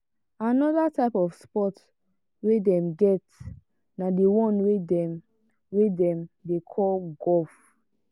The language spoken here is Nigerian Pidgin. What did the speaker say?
another type of sports wey dem get na the one wey dem wey dem dey call golf.